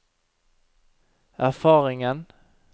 erfaringen